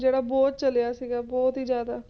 ਜਿਹੜਾ ਬਹੁਤ ਚੱਲਿਆ ਸੀਗਾ, ਬਹੁਤ ਹੀ ਜ਼ਿਆਦਾ